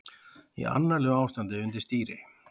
Í annarlegu ástandi undir stýri